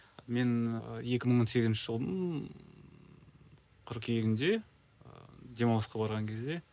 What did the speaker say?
мен екі мың он сегізінші жылдың қыркүйегінде ы демалысқа барған кезде